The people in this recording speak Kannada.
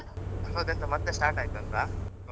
ಹೌದ! ಎಂತ ಮತ್ತೆ start ಆಯ್ತ ಅಂತ Covid ?